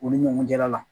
U ni ɲɔgɔn cɛla la